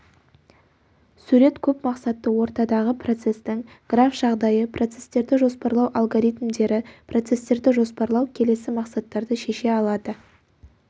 сурет көп мақсатты ортадағы процестің граф жағдайы процестерді жоспарлау алгоритмдері процестерді жоспарлау келесі мақсаттарды шеше алады